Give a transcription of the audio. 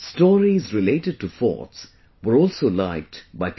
stories related to Forts were also liked by people